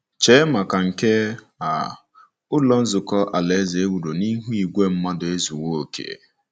Chee maka nke a, Ụlọ Nzukọ Alaeze e wuru n'ihu igwe mmadụ ezuwo oké.